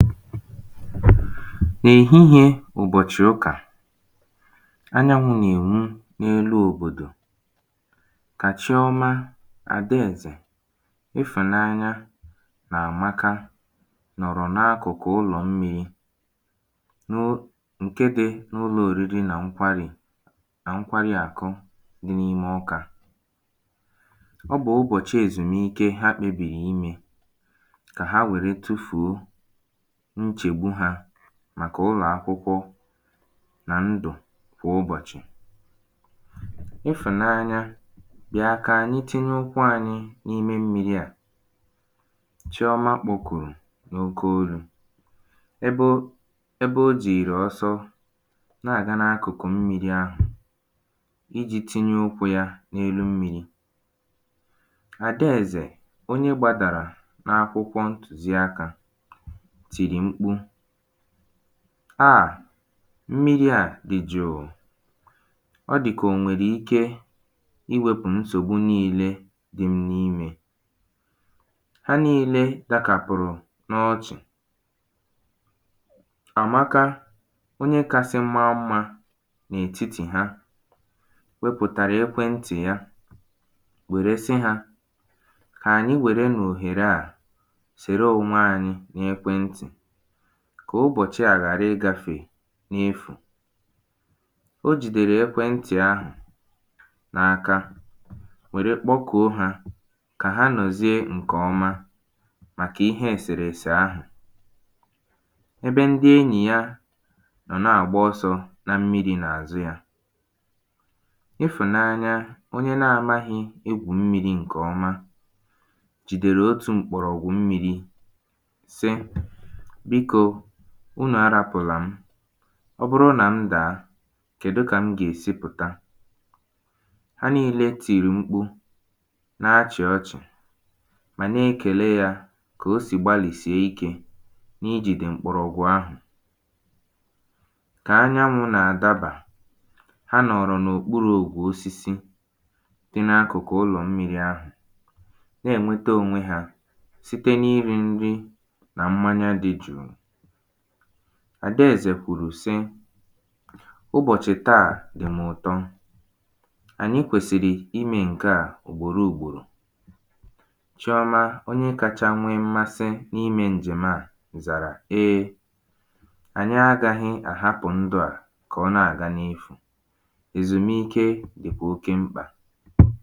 N’ehihiē ụ̀bọ̀chị̀ ụkà anyanwụ̄ nà-ènwu n’elu òbòdò kà Chiọma Àdaèzè Ifụ̀nanya nà Àmaka nọ̀rọ̀ n’akụ̀kụ̀ ulọ̀ mmīrī nụ ṅ̀ke dī n’ụlọ̄ oriri nà ṅkwarì nà ṅkwariàkụ̄ dị n’ime Ọkā ọ bụ̀ ụbọ̀chị èzumike ha kpebìrì imē kà ha wère tufuo nchegbu hā màkà ụlọ̀ akwụkwọ nà ndụ̀ kwà ụbọ̀chị̀ “Ifụ̀nanya, bịa kà ànyị tinye ụkwụ ānyị̄ n’ime mmīrī à”, Chiọma kpọkùrù n’oke olū. Ebe o ebe o jììrì ọsọ na-àga n’akụ̀kụ̀ mmīrī ahụ̀ ijī tinye ụkwụ̄ yā n’elu mmīrī Adaèzè onye gbadàrà n’akwụkwọ ntùziakā tìrì mkpu “aà! Mmiri à dì jụ̀ụ̀, ọ dị̀ kà ò nwèrè ike iwēpụ̀ nsògbu niīlē dị m n’imē”. Ha niīlē dakàpụ̀rụ̀ n’ọchị̀. Àmaka, onye kāsị maa mmā n’ètitì ha wepụ̀tàrà ekweǹtị̀ ya wère sị hā, “kà ànyị wèrenụ̀ òhère à sère onwe anyị n’ekwe ntị̀ kà ụbọ̀chị à ghàra ịgāfe n’efù”. O jìdèrè ekwentị ahụ n’aka wère kpọkùo hā kà ha nọ̀zie ǹke ọma màka ihe èsèrèsè ahụ̀ ebe ndị enyì ya nọ̀ na-àgba ọsọ̄ na mmirī n’àzụ yā Ifụ̀nanya, onye na-amāhī egwù mmirī ṅ̀kè ọma jìdèrè otù m̀kpọ̀rọ̀gwụ̀ mmīrī sị “biko, unù arāpụ̀là m. Ọ bụrụ nà m dàa, kèdi kà m gà-èsi pụ̀ta?”. Ha niīlē tìrì mkpu na-achị̀ ọchị̀ mà na-ekèle yā kà o sì gbalìsie ikē n’ijìdè m̀kpọ̀rọ̀gwụ̀ ahụ̀. Kà anyanwụ̄ nà-àdabà Ha nọ̀ọ̀rọ̀ n’òkpurù òkpù osisi dị̄ n’akụ̀kụ̀ ụlọ̀mmīrī ahụ̀ na-ènwete ōnwē hā site n’iri n̄rī nà mmanya dị jụ̀ụ̀. Àdaèzè kwùrù sị. “ụbọ̀chị̀ taà dị̀ mụ̀ ụ̀tọ. Ànyị kwèsịrị imē ṅ̀ke à ùgbòro ùgbòrò”. Chiọma, onye kacha nwe mmasị n’imē ǹjèm̀ à zàrà “ee ànyị agāhị̄ àhapụ̀ ndụ̄ à kà ọ na-àga n’efù, Èzùmike dịkwa oke mkpà”.